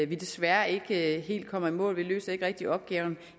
vi desværre ikke helt kommer i mål vi løser ikke rigtig opgaven